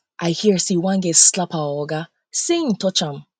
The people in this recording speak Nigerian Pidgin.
i hear say one girl slap our oga um say he touch am um